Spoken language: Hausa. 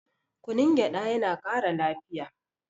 kunun gyaɗa yana Kara lafiya